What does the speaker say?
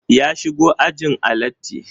Ya shigo ajin a latti